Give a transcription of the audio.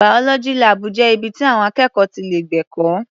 Biology lab jẹ́ ibi ti àwọn akẹ́kọ̀ọ́ ti lè gbẹ̀kọ́.